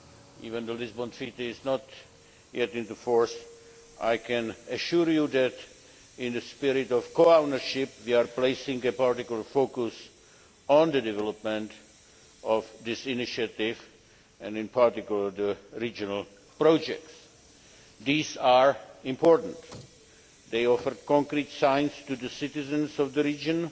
Even though the Lisbon Treaty has not yet come into force, I can assure you that, in the spirit of co ownership, we are placing a particular focus on the development of this initiative and, in particular, the regional projects. These are important. They offer concrete signs to the citizens of the region